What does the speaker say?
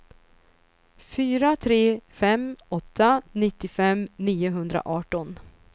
fyra tre fem åtta nittiofem niohundraarton